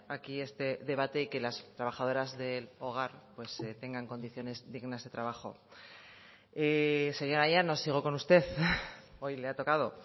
aquí este debate que las trabajadoras del hogar tengan condiciones dignas de trabajo señora llanos sigo con usted hoy le ha tocado